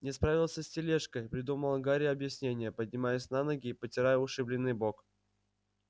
не справился с тележкой придумал гарри объяснение поднимаясь на ноги и потирая ушибленный бок